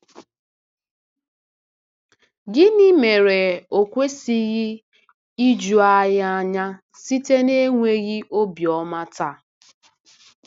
Gịnị mere o kwesịghị iju anyị anya site n’enweghị obiọma taa?